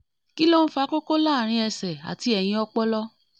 kí ló ń fa koko láàárín ẹsẹ̀ àti ẹ̀yìn ọpọlọ?